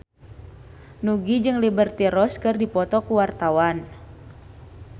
Nugie jeung Liberty Ross keur dipoto ku wartawan